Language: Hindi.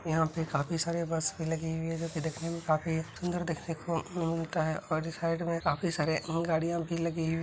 यहाँ पे काफी सारे बस भी लगी हुई हैं जो देखने में काफी सुन्दर देखने को मिलता है और ये साइड में काफी सारे गाड़ियां भी लगी हुई----